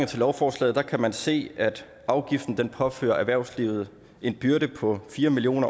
til lovforslaget kan man se at afgiften påfører erhvervslivet en byrde på fire million